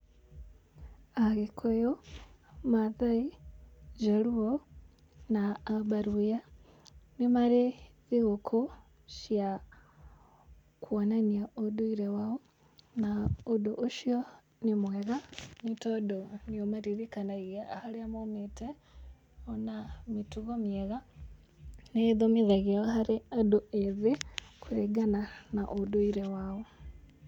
Agĩkũyũ , Maasai, Luo, na Abaluhya nĩ marĩ thigũkũ cia kuonania ũnduire wao na ũndũ ũcio nĩ mwega nĩ tondũ nĩ ũmaririkanagia harĩa maumĩte,o na mĩtugo mĩega, nĩ ĩthimithagio harĩ andũ ethĩ kũringana na ũndũire wao.